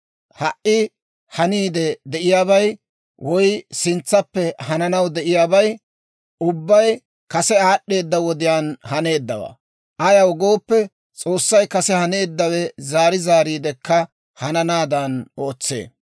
Ha"i haniidde de'iyaabay woy sintsappe hananaw de'iyaabay ubbay kase aad'd'eeda wodiyaan haneeddawaa; ayaw gooppe, S'oossay kase haneeddawe zaari zaariidekka hananaadan ootsee.